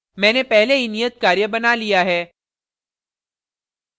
मैंने पहले ही ऩियत कार्य बनाया लिया है